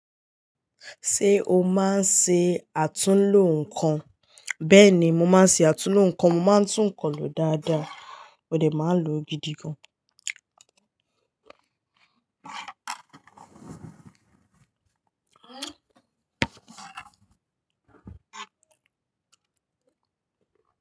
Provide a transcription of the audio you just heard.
Ṣé o máa ń ṣe àtúnlo nǹkan? Bẹ́ẹ̀ni, mo máa ń ṣe àtúnlo nǹkan, mo máa ń tún nǹkan lo dáadáa, mọdẹ̀ máa ń lo gidi gan.